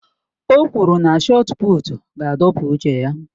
O kwuru na shọọt pụụtu ga-adọpụ uche ya